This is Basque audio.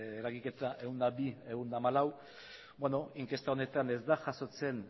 eragiketa ehun eta bi ehun eta hamalau inkesta honetan ez da jasotzen